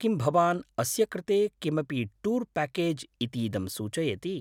किं भवान् अस्य कृते किमपि टूर् पैकेज् इतीदं सूचयति?